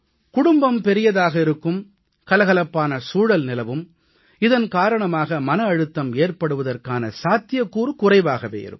குடும்பம் பெரியதாக இருக்கும் கலகலப்பான சூழல் நிலவும் இதன் காரணமாக மன அழுத்தம் ஏற்படுவதற்கான சாத்தியக்கூறு குறைவாகவே இருக்கும்